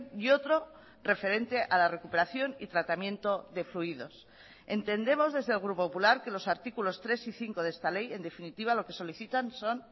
y otro referente a la recuperación y tratamiento de fluidos entendemos desde el grupo popular que los artículos tres y cinco de esta ley en definitiva lo que solicitan son